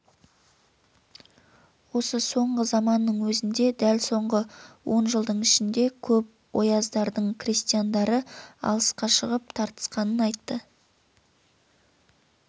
осы соңғы заманның өзінде дәл соңғы он жылдың ішінде көп ояздардың крестьяндары алысқа шығып тартысқанын айтты